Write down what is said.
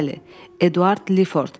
Bəli, Edward Liford.